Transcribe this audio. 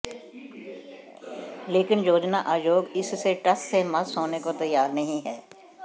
लेकिन योजना आयोग इससे टस से मस होने को तैयार नहीं है